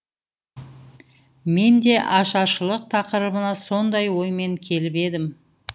мен де ашаршылық тақырыбына сондай оймен келіп едім